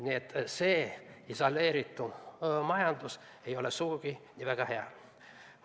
Nii et isoleeritud majandus ei ole sugugi väga hea.